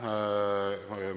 Aitäh!